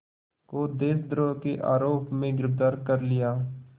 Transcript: को देशद्रोह के आरोप में गिरफ़्तार कर लिया